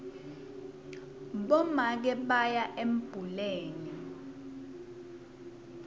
bomake baya embuleni